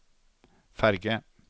ferge